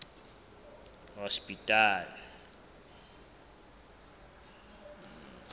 hospital